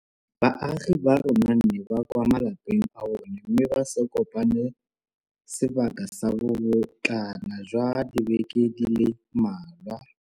baagi ba rona ba nne kwa malapeng a bona mme ba se kopane sebaka sa bobotlana jwa dibeke di le mmalwa.